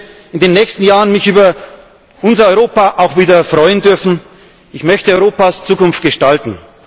Ich möchte mich in den nächsten Jahren über unser Europa auch wieder freuen dürfen. Ich möchte Europas Zukunft gestalten.